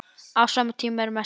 Á sama tíma er messa.